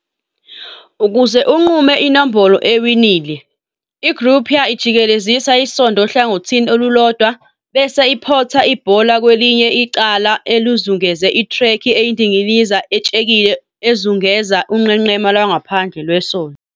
Ukuze unqume inombolo ewinile, i-croupier ijikelezisa isondo ohlangothini olulodwa, bese iphotha ibhola kwelinye icala elizungeze ithrekhi eyindilinga etshekile ezungeza unqenqema lwangaphandle lwesondo.